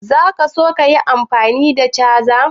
Za ka so ka yi amfani da cajan?